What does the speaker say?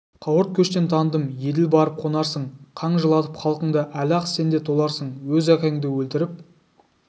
қауырт көштен таныдым еділ барып қонарсың қан жылатып халқыңды әлі-ақ сен де толарсың өз әкеңді өлтіріп